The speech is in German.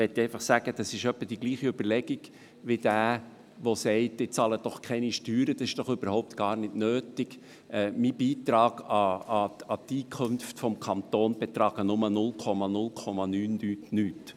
Das ist etwa dieselbe Überlegung, wie wenn jemand sagte, er bezahle keine Steuern, dies sei überhaupt nicht nötig, denn sein Beitrag an die Einkünfte des Kantons betrügen nur 0,0000-nichts.